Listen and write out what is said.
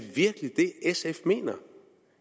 virkelig det sf mener